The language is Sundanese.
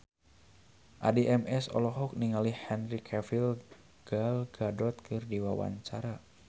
Addie MS olohok ningali Henry Cavill Gal Gadot keur diwawancara